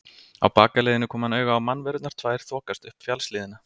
Á bakaleiðinni kom hann auga á mannverurnar tvær þokast upp fjallshlíðina.